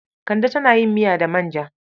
Kande tana yin miya da manja.